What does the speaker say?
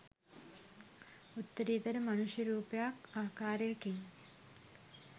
උත්තරීතර මනුෂ්‍ය රූපයක් ආකාරයකින්